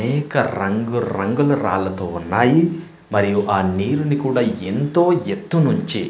అనేక రంగురంగుల రాళ్లతో ఉన్నాయి మరియు ఆ నీరుని కూడా ఎంతో ఎత్తు నుంచి--